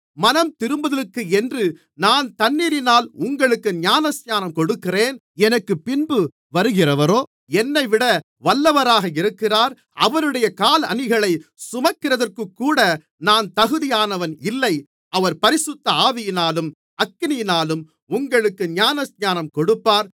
மனந்திரும்புதலுக்கென்று நான் தண்ணீரினால் உங்களுக்கு ஞானஸ்நானம் கொடுக்கிறேன் எனக்குப்பின்பு வருகிறவரோ என்னைவிட வல்லவராக இருக்கிறார் அவருடைய காலணிகளைச் சுமக்கிறதற்குக்கூட நான் தகுதியானவன் இல்லை அவர் பரிசுத்த ஆவியினாலும் அக்கினியினாலும் உங்களுக்கு ஞானஸ்நானம் கொடுப்பார்